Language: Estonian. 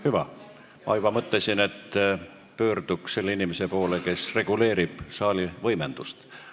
Hüva, ma juba mõtlesin, et pöörduks selle inimese poole, kes reguleerib saali võimendust.